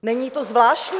Není to zvláštní?